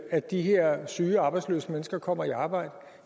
at de her syge og arbejdsløse mennesker kommer i arbejde